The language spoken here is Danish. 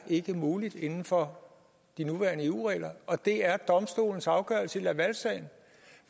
ikke er muligt inden for de nuværende eu regler og det er domstolens afgørelse i lavalsagen